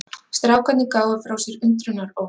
Strákarnir gáfu frá sér undrunaróp.